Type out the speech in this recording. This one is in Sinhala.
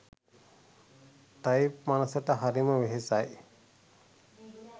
ටයිප් මනසට හරිම වෙහෙසයි